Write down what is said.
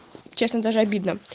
честно даже обидно